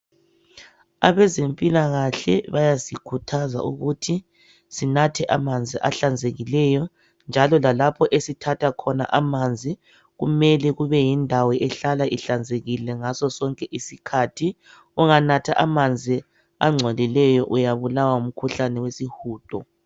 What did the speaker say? Abezempilakahle bayasikhuthaza ukuthi sinathe amanzi ahlanzekileyo njalo lalapho esithatha khona amanzi kumele kube yindawo ehlala ihlanzekile ngaso sonke isikhathi , unganatha amanzi angcolileyo uyabulawa ngumkhuhlane wesihudo